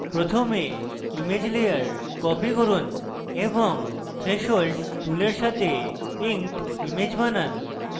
প্রথমে image layer copy করুন এবং threshold টুলের সাথে inked image বানান